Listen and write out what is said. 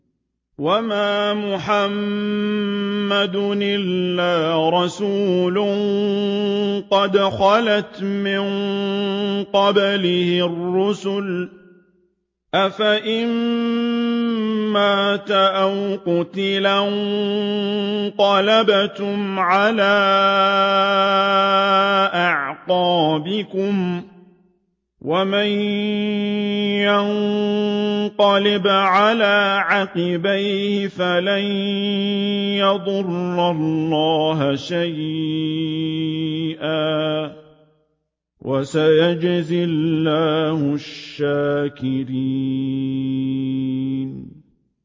وَمَا مُحَمَّدٌ إِلَّا رَسُولٌ قَدْ خَلَتْ مِن قَبْلِهِ الرُّسُلُ ۚ أَفَإِن مَّاتَ أَوْ قُتِلَ انقَلَبْتُمْ عَلَىٰ أَعْقَابِكُمْ ۚ وَمَن يَنقَلِبْ عَلَىٰ عَقِبَيْهِ فَلَن يَضُرَّ اللَّهَ شَيْئًا ۗ وَسَيَجْزِي اللَّهُ الشَّاكِرِينَ